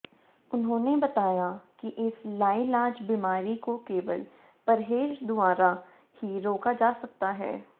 उन्होंने बताया कि इस लाइलाज बीमारी को केवल परहेज द्वारा ही रोका जा सकता है